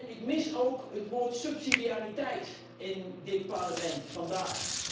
Ik mis ook het woord subsidiariteit in dit Parlement vandaag.